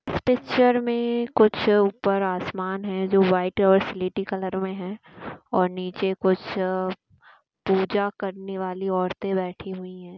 Picture मे कुछ ऊपर आसमान है जो वाईट ओैर स्लेटी कलर मे है ओैर नीचे कुछ पूजा करने वाली औरते बैठी हुई है।